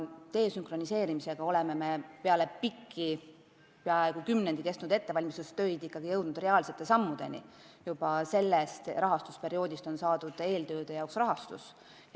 Desünkroniseerimisega me oleme peale pikki, peaaegu kümnendi kestnud ettevalmistustöid jõudnud reaalsete sammudeni, juba sellest rahastusperioodist on eeltööde jaoks rahastus saadud.